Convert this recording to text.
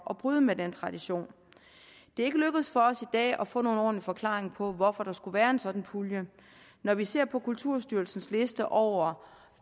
at bryde med den tradition det er ikke lykkedes for os i dag at få nogen ordentlig forklaring på hvorfor der skulle være en sådan pulje når vi ser på kulturstyrelsens liste over